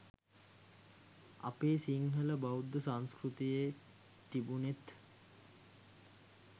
අපේ සිංහල බෞද්ධ සංස්කෘතියේ තිබුනෙත්